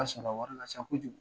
An sɔnna wari la sa kojugu